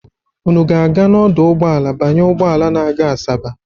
Unu ga-aga n'ọdụ ụgbọala banye ụgbọala na-aga Asaba?